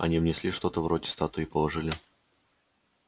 они внесли что-то вроде статуи и положили